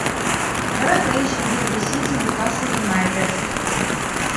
давай поищем дерби сити ньюкасл юнайтед